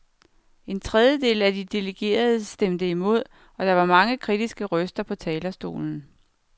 En trediedel af de delegerede stemte imod, og der var mange kritiske røster på talerstolen.